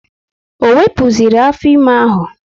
Ọ wepụziri afọ ime?